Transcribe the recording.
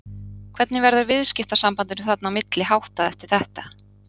Hvernig verður viðskiptasambandinu þarna á milli háttað eftir þetta?